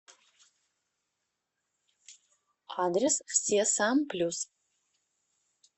адрес все сам плюс